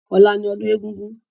Ọlá ni ọdún egúngún